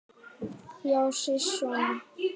Já, sisona!